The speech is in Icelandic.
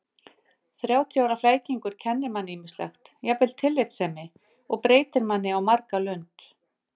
Þrjátíu ára flækingur kennir manni ýmislegt, jafnvel tillitssemi, og breytir manni á marga lund.